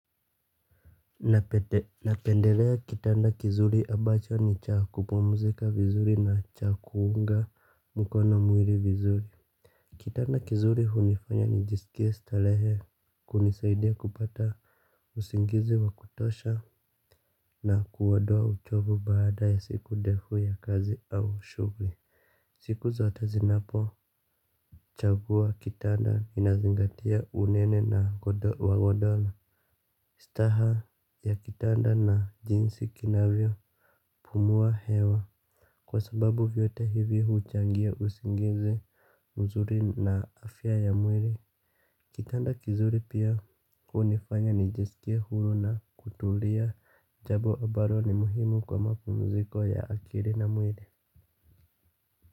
Napendelea kitanda kizuri abacho ni cha kupumzika vizuri na cha kuunga mkono mwili vizuri. Kitanda kizuri hunifanya nijisikie starehe, kunisaidia kupata usingizi wa kutosha na kuondoa uchovu baada ya siku ndefu ya kazi au shughuli. Siku zote zinapochagua kitanda ninazingatia unene na wa godoro. Istaha ya kitanda na jinsi kinavyopumua hewa. Kwa sababu vyote hivi huchangia usingizi mzuri na afya ya mwili. Kitanda kizuri pia hunifanya nijisikie huru na kutulia jambo ambalo ni muhimu kwa mapumziko ya akili na mwili.